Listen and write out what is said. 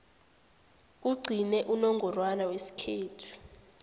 kugcine unongorwana wesikhethu